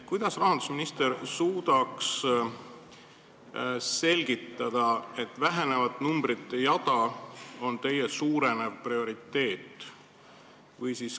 Kas rahandusminister suudab selgitada, miks see vähenev numbrite jada on teie prioriteet?